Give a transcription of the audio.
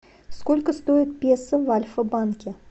сколько стоит песо в альфа банке